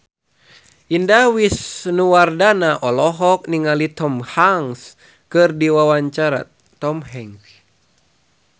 Indah Wisnuwardana olohok ningali Tom Hanks keur diwawancara